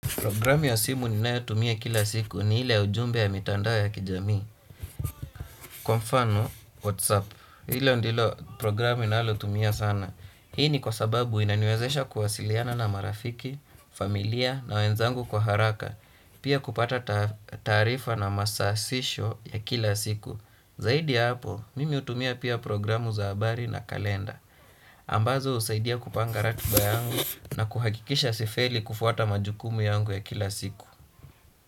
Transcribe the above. Programu ya simu ninayotumia kila siku ni ile ya ujumbe ya mitandao ya kijamii. Kwa mfano, Whatsapp. Ilo ndilo programu ninalotumia sana. Hii ni kwa sababu inaniwezesha kuwasiliana na marafiki, familia na wenzangu kwa haraka. Pia kupata taarifa na masasisho ya kila siku. Zaidi hapo, mimi hutumia pia programu za habari na kalenda. Ambazo husaidia kupanga ratiba yangu na kuhakikisha sifeli kufuata majukumu yangu ya kila siku.